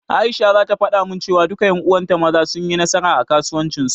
Aisha zata faɗa min cewa, duka ƴan uwanta Maza, sun yi nasara a kasuwancin su.